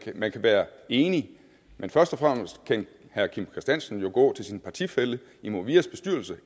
man kan være enig men først og fremmest kan herre kim christiansen jo gå til sin partifælle i movias bestyrelse